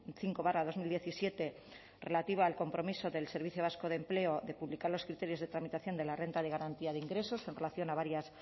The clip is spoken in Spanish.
cinco barra dos mil diecisiete relativa al compromiso del servicio vasco de empleo de publicar los criterios de tramitación de la renta de garantía de ingresos en relación a varias